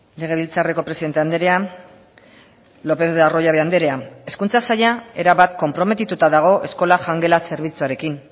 legebiltzarreko presidente andrea lopez de arroyabe andrea hezkuntza saila erabat konprometituta dago eskola jangela zerbitzuarekin